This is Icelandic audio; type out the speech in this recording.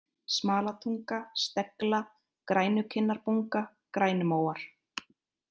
Smalatunga, Stegla, Grænukinnarbunga, Grænumóar